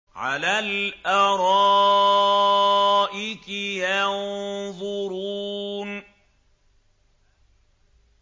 عَلَى الْأَرَائِكِ يَنظُرُونَ